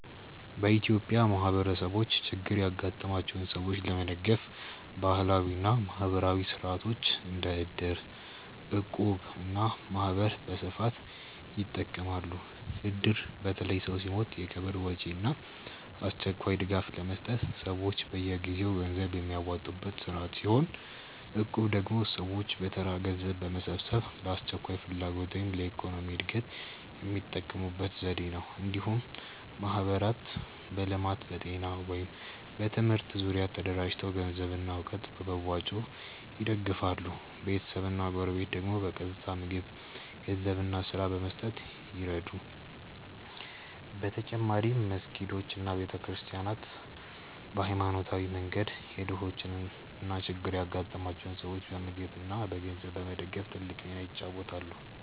በኢትዮጵያ ማህበረሰቦች ችግር ያጋጠማቸውን ሰዎች ለመደገፍ ባህላዊ እና ማህበራዊ ሥርዓቶች እንደ እድር፣ እቁብ እና ማህበር በስፋት ይጠቀማሉ። እድር በተለይ ሰው ሲሞት የቀብር ወጪ እና አስቸኳይ ድጋፍ ለመስጠት ሰዎች በየጊዜው ገንዘብ የሚያዋጡበት ስርዓት ሲሆን፣ እቁብ ደግሞ ሰዎች በተራ ገንዘብ በመሰብሰብ ለአስቸኳይ ፍላጎት ወይም ለኢኮኖሚ እድገት የሚጠቀሙበት ዘዴ ነው። እንዲሁም ማህበራት በልማት፣ በጤና ወይም በትምህርት ዙሪያ ተደራጅተው ገንዘብና እውቀት በመዋጮ ይደግፋሉ፤ ቤተሰብና ጎረቤት ደግሞ በቀጥታ ምግብ፣ ገንዘብ እና ስራ በመስጠት ይረዱ። በተጨማሪም መስጊዶች እና ቤተ ክርስቲያናት በሃይማኖታዊ መንገድ የድሆችን እና ችግር ያጋጠማቸውን ሰዎች በምግብ እና በገንዘብ በመደገፍ ትልቅ ሚና ይጫወታሉ።